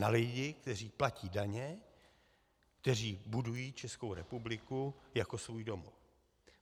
Na lidi, kteří platí daně, kteří budují Českou republiku jako svůj domov.